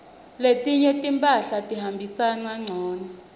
letinye timphahla tihambisana ngcunu